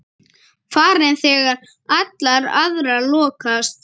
Farin þegar allar aðrar lokast.